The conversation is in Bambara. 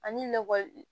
Ani lakɔli